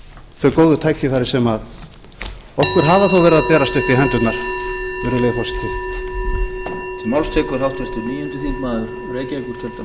þau góð tækifæri sem okkur hafa þó verið að berast upp í hendurnar virðulegi forseti